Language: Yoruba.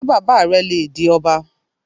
Ṣé bàbá rẹ le di ọba?